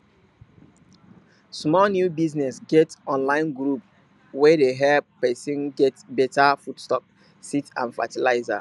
small new business get online group wey dey help person get better foodstuffs seeds and fertilizer